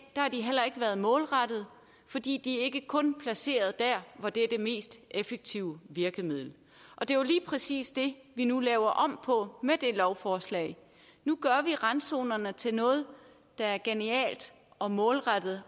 har de heller ikke været målrettede for de er ikke kun placeret der hvor det er det mest effektive virkemiddel og det er lige præcis det vi nu laver om på med det lovforslag nu gør vi randzonerne til noget der er genialt og målrettet